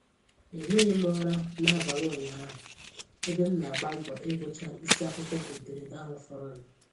Ehighị m ụra n'abalị ụnyahụ ebe m na-agba mbọ ịgụcha isi akwụkwọ ederede ahụ fọrọnụ